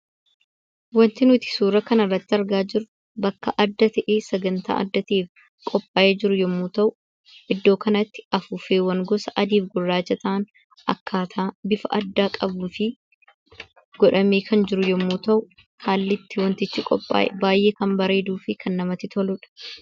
Wanti nuti suura kanarratti argaa jirru bakka adda ta'ee sagantaa adda ta'eef qophaa'ee jiru yommuu ta'u, iddoo kanatti afuuffeewwan gosa adii fi gurraachaa ta'an akkaataa bifa addaa qabuu fi godhamee kan jiru yommuu ta'u, haalli itti wantichi qophaa'e baay'ee kan bareeduu fi kan namatti toludha.